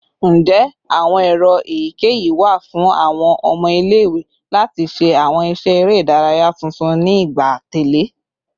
Njẹ awọn ero eyikeyi wa fun awọn ọmọ ile-iwe lati ṣe awọn iṣẹ ere idaraya tuntun ni igba atẹle?